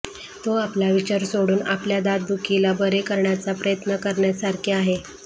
तो आपला विचार सोडून आपल्या दातदुखीला बरे करण्याचा प्रयत्न करण्यासारखे आहे